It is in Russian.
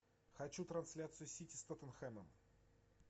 хочу трансляцию сити с тоттенхэмом